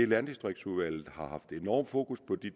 landdistriktsudvalget har haft enorm fokus på de